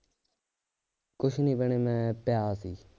ਕੁਛ ਨਹੀਂ ਭੈਣੇ ਮੈ ਪਿਆ ਸੀ